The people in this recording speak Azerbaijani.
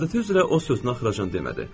Adəti üzrə o sözünü axıraacan demədi.